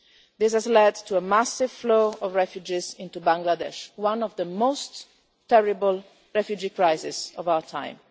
This has led to a massive flow of refugees into Bangladesh, one of the most terrible refugee crises of our time.